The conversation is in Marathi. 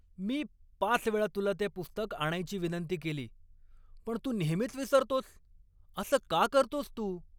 मी पाच वेळा तुला ते पुस्तक आणायची विनंती केली पण तू नेहमीच विसरतोस, असं का करतोस तू?